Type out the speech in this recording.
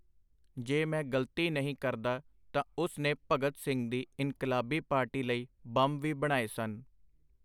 ਜੇ ਮੈਂ ਗਲਤੀ ਨਹੀਂ ਕਰਦਾ ਤਾਂ ਉਸ ਨੇ ਭਗਤ ਸਿੰਘ ਦੀ ਇਨਕਲਾਬੀ ਪਾਰਟੀ ਲਈ ਬੰਮ ਵੀ ਬਣਾਏ ਸਨ.